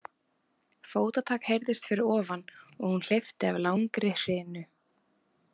Fótatak heyrðist fyrir ofan og hún hleypti af langri hrinu.